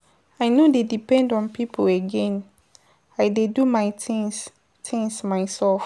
I no dey depend on pipo again, I dey do my tins tins mysef.